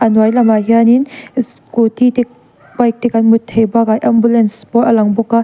hnuai lamah hianin scooty te bike te kan hmu theih bakah ambulance pawh a lang bawk a.